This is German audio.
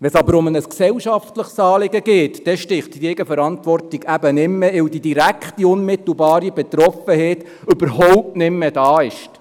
Wenn es jedoch um ein gesellschaftliches Anliegen geht, sticht die Eigenverantwortung nicht mehr, weil die direkte, unmittelbare Betroffenheit überhaupt nicht mehr da ist.